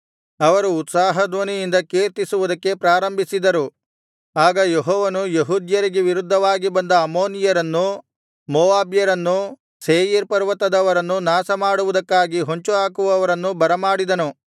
ಅವರು ಉತ್ಸಾಹ ಧ್ವನಿಯಿಂದ ಕೀರ್ತಿಸುವುದಕ್ಕೆ ಪ್ರಾರಂಭಿಸಿದರು ಆಗ ಯೆಹೋವನು ಯೆಹೂದ್ಯರಿಗೆ ವಿರುದ್ಧವಾಗಿ ಬಂದ ಅಮ್ಮೋನಿಯರನ್ನೂ ಮೋವಾಬ್ಯರನ್ನೂ ಸೇಯೀರ್ ಪರ್ವತದವರನ್ನೂ ನಾಶಮಾಡುವುದಕ್ಕಾಗಿ ಹೊಂಚು ಹಾಕುವವರನ್ನು ಬರಮಾಡಿದನು